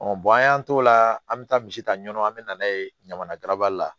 an y'an t'o la an bɛ taa misi ta ɲɔn an bɛ na n'a ye ɲamana garabali la